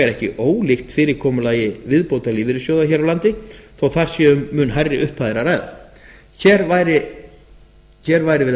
ekki ólíkt fyrirkomulagi viðbótarlífeyrissjóða hér á landi þó að þar sé um mun hærri upphæðir að ræða hér væri verið